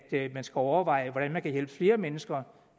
man skal overveje hvordan man kan hjælpe flere mennesker